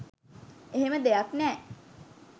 එහෙම දෙයක් නෑ.